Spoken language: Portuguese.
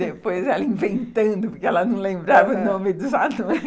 Depois, ela inventando, porque ela não lembrava o nome dos anões.